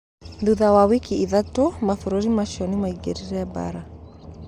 Thutha wa wiki ithatũ, mabũrũri maciũ nimaingĩrĩre baraa.